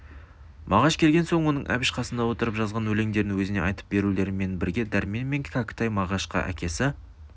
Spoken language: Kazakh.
мағаш келген соң оның әбіш қасында отырып жазған өлеңдерін өзіне айтып берулерімен бірге дәрмен мен кәкітай мағашқа әкесі